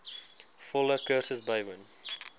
volle kursus bywoon